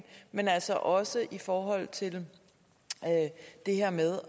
men altså også i forhold til det her med